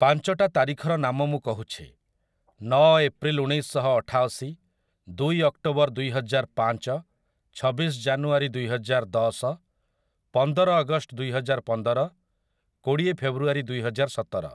ପାଞ୍ଚଟା ତାରିଖର ନାମ ମୁଁ କହୁଛି, ନଅ ଏପ୍ରିଲ ଉଣେଇଶଶହ ଅଠାଅଶୀ, ଦୁଇ ଅକ୍ଟୋବର ଦୁଇହଜାରପାଞ୍ଚ, ଛବିଶ ଜାନୁୟାରୀ ଦୁଇହଜାରଦଶ, ପନ୍ଦର ଅଗଷ୍ଟ ଦୁଇହଜାରପନ୍ଦର, କୋଡ଼ିଏ ଫେବ୍ରୁଆରୀ ଦୁଇହଜାରସତର ।